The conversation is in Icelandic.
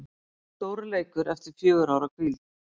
Stórleikur eftir fjögurra ára hvíld